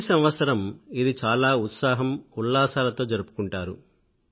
ప్రతి ఏడూ ఇది చాలా ఉత్సాహము ఉల్లాసాలతో జరుపుకుంటారు